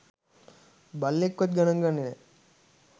බල්ලෙක්වත් ගණන් ගන්නෙ නෑ.